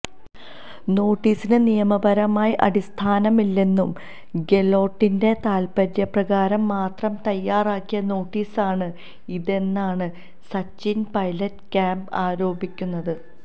നോട്ടീസിന് നിയമപരമായി അടിസ്ഥാനമില്ലെന്നും ഗെലോട്ടിന്റെ താല്പര്യപ്രകാരം മാത്രം തയ്യാറാക്കിയ നോട്ടീസാണ് ഇതെന്നാണ് സച്ചിന് പൈലറ്റ് ക്യാമ്പ് ആരോപിക്കുന്നത്